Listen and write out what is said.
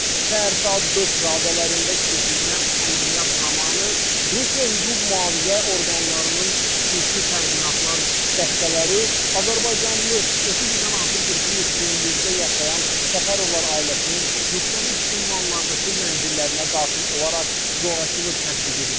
Səhər saat 5 radələrində keçirilən əməliyyat zamanı Rusiya hüquq-mühafizə orqanlarının xüsusi təyinatlar dəstələri azərbaycanlı, 30 ildən artıqdır ki, Yekaterinburqda yaşayan Səfərovlar ailəsinin müxtəlif ünvanlardakı mənzillərinə daxil olaraq zorakılıq tətbiq ediblər.